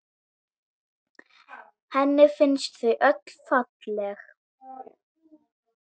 Henni finnst þau öll falleg.